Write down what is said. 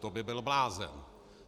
To by byl blázen.